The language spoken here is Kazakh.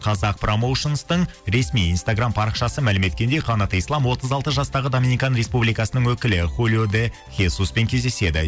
қазақпрамоушнстың ресми инстаграм парақшасы мәлім еткендей қанат ислам отыз алты жастағы даминикан республикасының өкілі хулио де хесуспен кездеседі